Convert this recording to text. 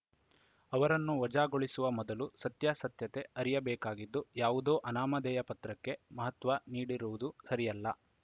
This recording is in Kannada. ಅವರನ್ನು ವಜಾಗೊಳಿಸುವ ಮೊದಲು ಸತ್ಯಾಸತ್ಯತೆ ಅರಿಯಬೇಕಾಗಿದ್ದು ಯಾವುದೋ ಅನಾಮಾಧೇಯ ಪತ್ರಕ್ಕೆ ಮಹತ್ವ ನೀಡಿರುವುದು ಸರಿಯಲ್ಲ